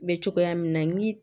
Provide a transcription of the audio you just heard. Bɛ cogoya min na ni